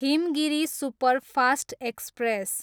Himgiri superfast express